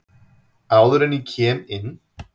Áður en að ég kem inn.